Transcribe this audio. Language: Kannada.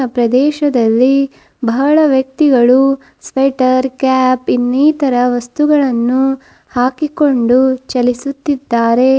ಪ್ರದೇಶದಲ್ಲಿ ಬಹಳ ವ್ಯಕ್ತಿಗಳು ಸ್ವೆಟರ್ ಕ್ಯಾಪ್ ಇನ್ನೀತರ ವಸ್ತುಗಳನ್ನು ಹಾಕಿಕೊಂಡು ಚಲಿಸುತ್ತಿದ್ದಾರೆ.